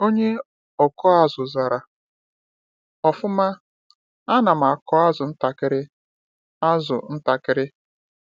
Onye ọkụ azụ zara: “Ọfụma, ana m akụ azụ ntakịrị. azụ ntakịrị.